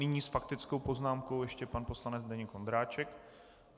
Nyní s faktickou poznámkou ještě pan poslanec Zdeněk Ondráček.